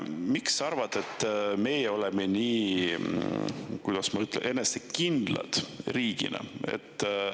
Miks sinu arvates meie oleme, kuidas ma ütlen, riigina nii enesekindlad?